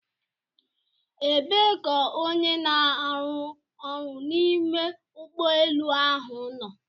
Ebee ka onye n'aru ọrụ n'ime ụgbọ elu ahụ nọ?